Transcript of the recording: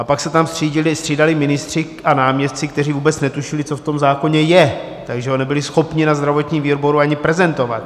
A pak se tam střídali ministři a náměstci, kteří vůbec netušili, co v tom zákoně je, takže ho nebyli schopni na zdravotním výboru ani prezentovat.